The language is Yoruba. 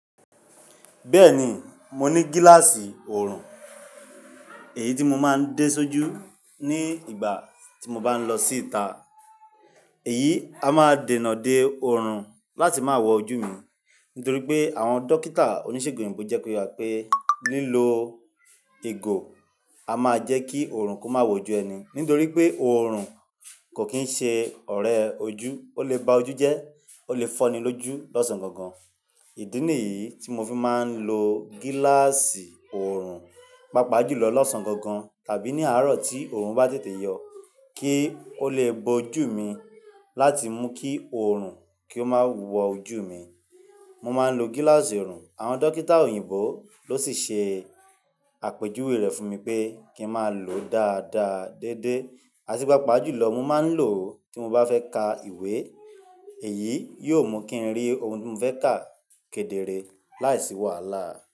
Bẹ́ẹ̀ ni, mo ní gíláàsì oorun èyí tí mo máa ń dé sójú ní ìgbà tí mo bá ń lọ síta. Èyí a máa dènà de oorun láti máa wọ ojú mi. Nítorí pé àwọn dókítà oníṣègùn òyìnbó jẹ́ ko ye wa pe lilò igo a máa jẹ́ kí oorun kó máa wojú ẹni. Nítorí pé oorun kò kín ṣe ọ̀rẹ́ ojú, ó lè ba ojú jẹ́, ó lè fọ́ni lójú lọ́sàn-gan-gan. Ìdí nìyí tí mo fi máa ń lo gíláàsì oorun, pàápàá jùlọ lọ́sàn-gan-gan tàbí ní àárọ̀ tí oorun bá tètè yọ kí ó lè bo ojú mi láti mú kí oorun kí ó máa wọ ojú mi. Mo máa ń lo gíláàsì oorun, àwọn dókítà òyìnbó ló sì ṣe àpèjúwe rẹ̀ fún mi pé kí n máa lòó dáadáa, déédéé, àti pàápàá jùlọ mó máa ń lò ó tí mo bá fẹ́ ka ìwé. Èyí yóò mú kí n rí ohun tí mo fẹ́ ka kedere láìsí wàhálà.